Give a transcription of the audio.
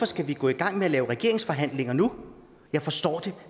skal vi gå i gang med at lave regeringsforhandlinger nu jeg forstår det